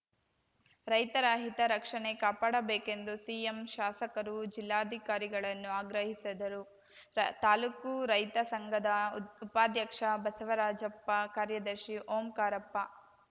ರೈತರ ಹಿತ ರಕ್ಷಣೆ ಕಾಪಾಡಬೇಕೆಂದು ಸಿಎಂ ಶಾಸಕರು ಜಿಲ್ಲಾಧಿಕಾರಿಗಳನ್ನು ಆಗ್ರಹಿಸದರು ತಾಲೂಕು ರೈತ ಸಂಘದ ಉದ್ ಉಪಾಧ್ಯಕ್ಷ ಬಸವರಾಜಪ್ಪ ಕಾರ್ಯದರ್ಶಿ ಓಂಕಾರಪ್ಪ